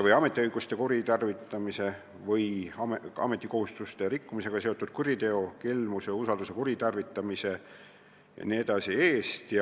või ametiõiguste kuritarvitamise või ametikohustuste rikkumisega seotud kuriteo, samuti kelmuse, usalduse kuritarvitamise jms eest.